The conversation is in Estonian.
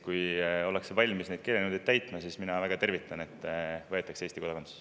Kui ollakse valmis neid keelenõudeid täitma, siis mina väga tervitan, et võetakse Eesti kodakondsus.